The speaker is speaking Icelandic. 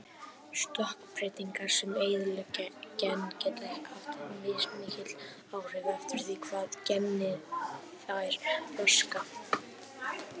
Stökkbreytingar sem eyðileggja gen geta haft mismikil áhrif eftir því hvaða geni þær raska.